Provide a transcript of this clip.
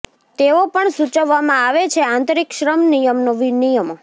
તેઓ પણ સૂચવવામાં આવે છે આંતરિક શ્રમ નિયમનો નિયમો